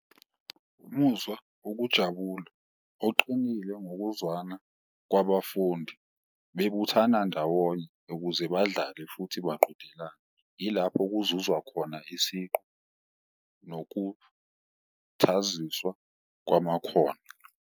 Umuzwa wokujabula oqinile ngokuzwana kwabafundi bebuthana ndawonye ukuze badlale futhi baqhudelane, ilapho kuzuzwa khona isiqu nokuthaziswa kwamakhono.